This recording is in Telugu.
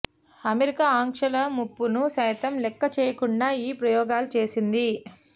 అమెరికా ఆంక్షల ముప్పును సైతం లెక్క చేయకుండా ఈ ప్రయోగాలు చేసింది